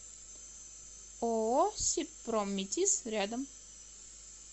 ооо сибпромметиз рядом